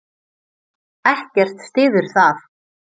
Ekkert styður það.